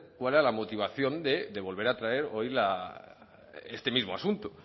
cuál era la motivación de volver a traer hoy este mismo asunto